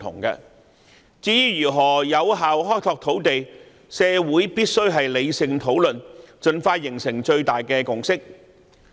至於如何有效開拓土地，社會必須理性討論，盡快達成最大的共識。